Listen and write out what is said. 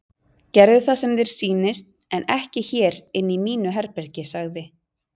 Gerðu það sem þér sýnist en ekki hér inni í mínu herbergi sagði